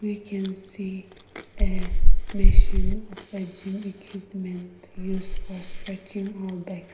We can see a machine of a gym equipment used for stretching our back.